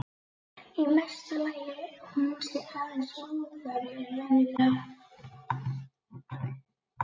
Í mesta lagi hún sé aðeins móðari en venjulega.